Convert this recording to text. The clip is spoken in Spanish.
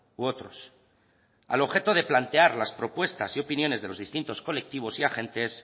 u otros al objeto de plantear las propuestas y opiniones de los distintos colectivos y agentes